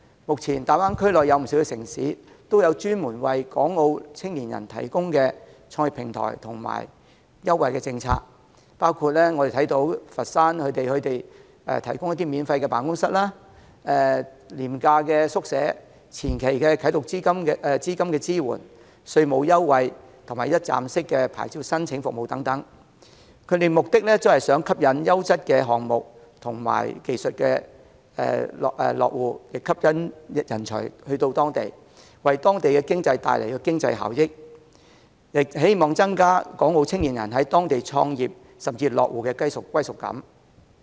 目前大灣區內有不少城市也有專門為港澳青年人提供的創業平台及優惠政策，包括佛山提供的免費辦公室、廉價宿舍、前期啟動資金支援、稅務優惠及一站式的牌照申請服務等，目的是吸引優質的項目、技術及人才落戶，為當地帶來經濟效益，希望增加港澳青年人在當地創業甚至落戶的歸屬感。